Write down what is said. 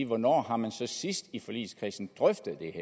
hvornår har man så sidst i forligskredsen drøftet det